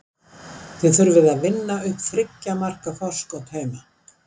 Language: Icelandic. Þið þurfið að vinna upp þriggja marka forskot heima.